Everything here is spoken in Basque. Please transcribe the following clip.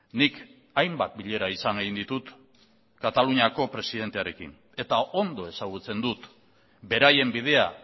nik hainbat bilera izan egin ditut kataluniako presidentearekin eta ondo ezagutzen dut beraien bidea